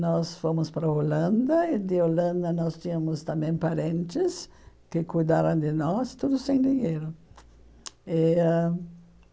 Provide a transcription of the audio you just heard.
Nós fomos para a Holanda, e de Holanda nós tínhamos também parentes que cuidaram de nós, tudo sem dinheiro. eh ãh